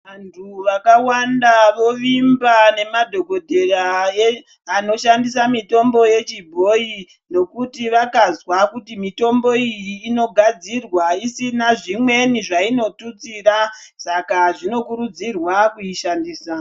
Vantu vakawanda vovimba nemadhogodheya anoshandisa mitombo yechibhoyi nokuti vakazwa kuti mitombo iyi inogadzirwa isina zvimweni zvainotutsira. Saka zvinokurudzirwa kuishandisa.